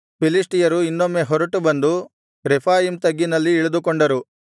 ಫಿಲಿಷ್ಟಿಯರು ಇನ್ನೊಮ್ಮೆ ಹೊರಟು ಬಂದು ರೆಫಾಯೀಮ್ ತಗ್ಗಿನಲ್ಲಿ ಇಳಿದುಕೊಂಡರು